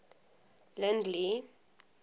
lindley